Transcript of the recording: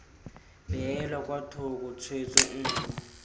beelwa kwa thoko tshwetso nngwe